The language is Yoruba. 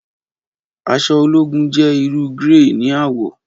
Aṣọ ologun jẹ iru grẹy ni awọ